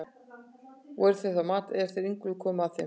Voru þeir þá að mat, er þeir Ingólfur komu að þeim.